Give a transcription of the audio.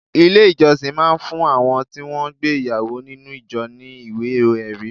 Ilé ìjọsìn máa ń fún àwọn tí wọn gbé ìyàwó nínú ìjọ ní ìwé-ẹri.